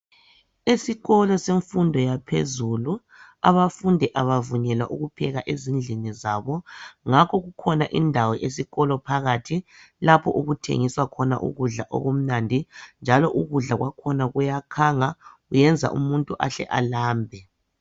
Esikolo semfundo yaphezulu, abafundi abavunyelwa ukupheka ezindlini zabo, ngakho kukhona indawo esikolo phakathi, lapho okuthengiswa khona ukudla okumnandi, njalo ukudla kwakhona kuyakhanga kuyenza umuntu ahle alambe.